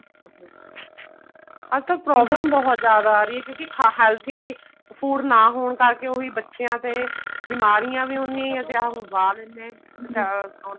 ਅੱਜਕਲ problem ਬਹੁਤ ਜਿਆਦਾ ਆ ਰਹੀ ਹੈ ਕਿਉਂਕਿ healthy food ਨਾ ਹੋਣ ਕਰਕੇ ਬੱਚਿਆਂ ਤੇ ਬਿਮਾਰੀਆਂ ਵੀ ਉੰਨੀਆਂ ਲਗਵਾ ਲੇਂਦੇ ਹੈ